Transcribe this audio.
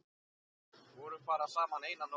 Vorum bara saman eina nótt.